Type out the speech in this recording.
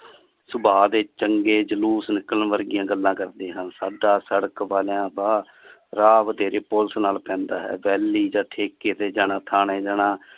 ਸੁਭਾਹ ਦੇ ਚੰਗੇ ਜਲੂਸ ਨਿਕਲਣ ਵਰਗੀਆਂ ਗੱਲਾਂ ਕਰਦੇ ਹਨ ਸਾਡਾ ਸੜਕ ਵਾਲਾ ਰਾਹ ਬਥੇਰੇ ਪੁਲਸ ਨਾਲ ਪੈਂਦਾ ਹੈ ਵੈੱਲੀ ਜਾ ਠੇਕੇ ਤੇ ਜਾਣਾ ਠਾਣੇ ਜਾਣਾ।